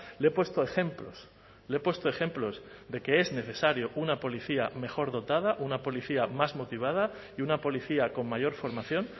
le he puesto ejemplos le he puesto ejemplos de que es necesario una policía mejor dotada una policía más motivada y una policía con mayor formación